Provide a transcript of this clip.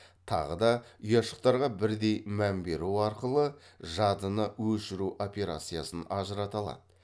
тағы да ұяшықтарға бірдей мән беру арқылы жадыны өшіру операциясын ажырата алады